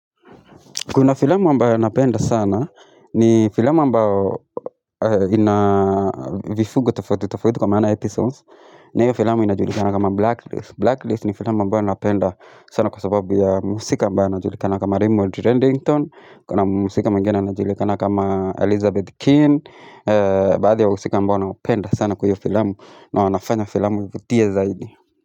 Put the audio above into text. Kuna filamu ambayo napenda sana, ni filamu ambayo ina vifungo tofauti tofauti kwa maana episodes. Na hiyo filamu inajulikana kama Blacklist. Blacklist ni filamu ambayo napenda sana kwa sababu ya mhusika ambaye anajulikana kama Raymond Reddington. Kuna mhusika mwingine anajulikana kama Elizabeth Keane. Baadhi ya wahusika ambao nawapenda sana kwa hio filamu na wanafanya filamu kuvutia zaidi.